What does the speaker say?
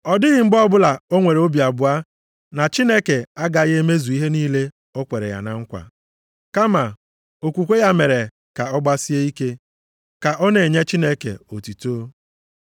Ọ dịghị mgbe ọbụla o nwere obi abụọ na Chineke agaghị emezu ihe niile o kwere ya na nkwa. Kama, okwukwe ya mere ka ọ gbasie ike, ka ọ na-enye Chineke otuto.